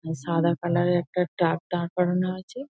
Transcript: সাদা কালার -এর একটা ট্রাক দাড় করানো আছে ।